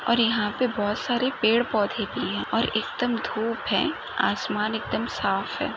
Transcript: और यहा पे बहुत सारे पेड पोधे और एकदम धूप है आसमान एकदम साफ है।